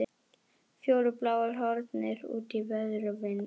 Fjórir bláir horfnir út í veður og vind!